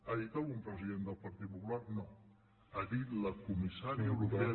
ho ha dit algun president del partit popular no ho ha dit la comissària europea